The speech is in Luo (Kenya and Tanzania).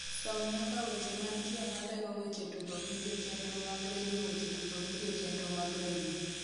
som nyaka weche mantie malero weche tugo vidio chenro mag redio weche tugo vidio chenro mag redio